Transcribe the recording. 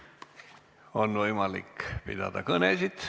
On võimalik pidada kõnesid.